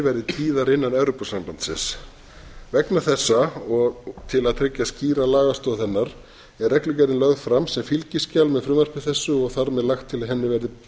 verði tíðar innan evrópusambandsins vegna þessa og til að tryggja skýra lagastoð hennar er reglugerðin lögð fram sem fylgiskjal með frumvarpi þessu og þar með lagt til að henni